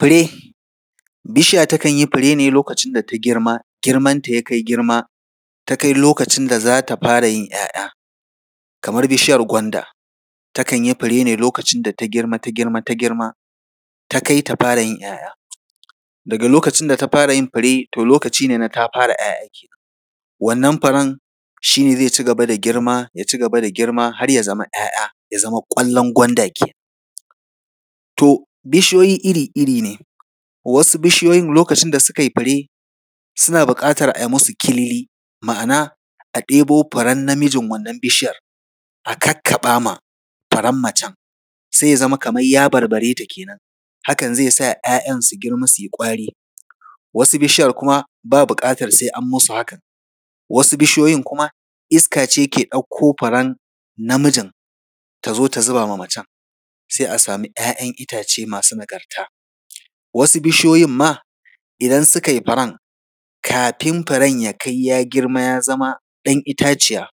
Fure. Bishiya takan yi fure ne lokacin da ta girma, girmanta ya kai girma, ta kai lokacin da za ta fara yin ‘ya’ya. Kamar bishiyar gwanda, takan yi fure ne lokacin da ta girma, ta girma, ta girma, ta kai ta fara yin ‘ya’ya. Daga lokacin da ta fara yin fure, lokaci ne ta fara yin ‘ya’ya kenan. Wannan furen shi ne zai ci gaba da girma, ya ci gaba da girma, har ya zama ‘ya’ya, ya zama ƙwallon gwanda kenan. to bishiyoyi iri-iri ne, wasu bishiyoyin lokacin da suka yi fure, suna buƙatar a yi musu Kilili, ma’ana, a ɗebo furen namijin wannan bishiyar, a kakkaɓa ma furen macen, sai ya zama kamar ya barbare ta kenan. hakan zai sa ‘ya’yan su girma, su yi ƙwari. Wasu bishiyar kuma, babu buƙatar sai an musu hakan. Wasu bishiyoyin kuma, iska ce ke ɗauko furen namijin, ta zo ta zuba ma macen, sai a samu ‘ya’yan itace masu nagarta. Wasu bishiyoyin ma, idan suka yi furen, kafin furen ya kai, ya girma, ya zama ɗan itaciya,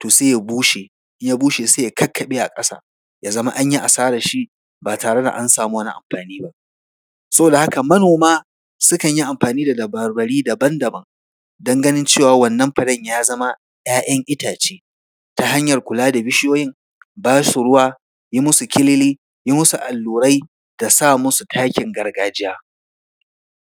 to sai ya bushe, in ya bushe, sai ya kakkaɓe a ƙasa, ya zama an yi asararshi, ba tare da an samu wani amfani ba. Saboda haka manoma sukan yi amfani dadabarbari daban daban, don ganin cewa, wannan furen ya zama ‘ya’yan itace, ta hanyar kula da bishiyoyin, ba su ruwa, yi musu Kilili, yi musu allura da sa musu takin gargajiya.